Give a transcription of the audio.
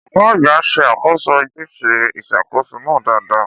Ọ̀gá àgbà ṣe àkóso ojúṣe ìṣàkóso náà dáadáa.